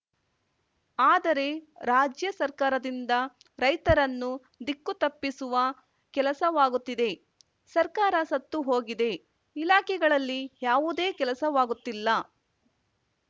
ಆದರೆ ರಾಜ್ಯ ಸರ್ಕಾರದಿಂದ ರೈತರನ್ನು ದಿಕ್ಕು ತಪ್ಪಿಸುವ ಕೆಲಸವಾಗುತ್ತಿದೆ ಸರ್ಕಾರ ಸತ್ತುಹೋಗಿದೆ ಇಲಾಖೆಗಳಲ್ಲಿ ಯಾವುದೇ ಕೆಲಸವಾಗುತ್ತಿಲ್ಲ